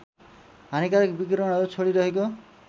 हानिकारक विकिरणहरू छोडिरहेको